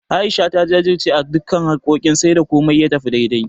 A'isha ta jajirce akan duka harkokin har sai da komai ya tafi daidai.